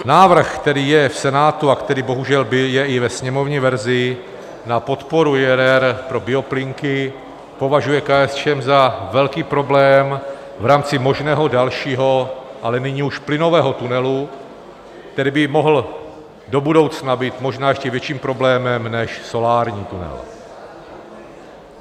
Návrh, který je v Senátu a který bohužel je i ve sněmovní verzi na podporu IRR pro bioplynky, považuje KSČM za velký problém v rámci možného dalšího, ale nyní už plynového tunelu, který by mohl do budoucna být možná ještě větším problémem než solární tunel.